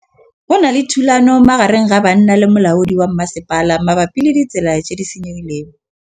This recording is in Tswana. Go na le thulanô magareng ga banna le molaodi wa masepala mabapi le ditsela tse di senyegileng.